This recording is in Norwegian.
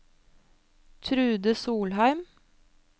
Trude Solheim